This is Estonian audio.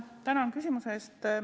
Tänan küsimuse eest!